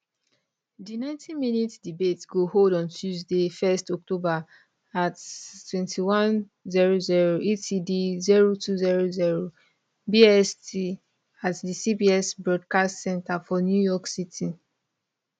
di 90minute debate go hold on tuesday 1 october at 2100 edt 0200 bst at di cbs broadcast center for new york city